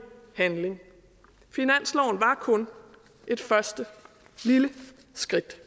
handling finansloven var kun et første lille skridt